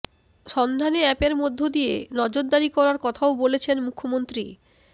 সন্ধানে অ্যাপের মধ্যে দিয়ে নজরদারি করার কথাও বলেছেন মুখ্যম